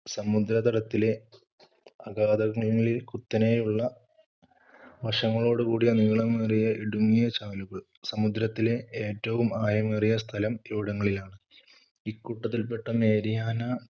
സമുദ്രതടത്തിലെ അഗാധതകളിൽ കുത്തനെയുള്ള വശങ്ങളോടുകൂടിയ നീളമേറിയ ഇടുങ്ങിയ ചാലുകൾ. സമുദ്രത്തിലെ ഏറ്റവും ആയമേറിയ സ്ഥലം ഇവിടങ്ങളിലാണ്. ഇക്കൂട്ടത്തിൽപ്പെട്ട മേരിയാന